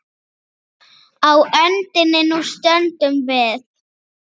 Á öndinni nú stöndum við.